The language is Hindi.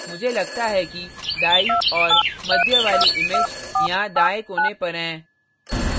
मुझे लगता है कि दायीं और मध्य वाली image यहाँ दायें कोने पर हैं